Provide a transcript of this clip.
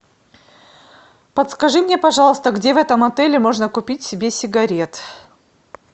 подскажи мне пожалуйста где в этом отеле можно купить себе сигарет